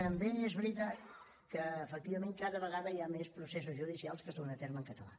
també és veritat que efectivament cada vegada hi ha més processos judicials que es duen a terme en català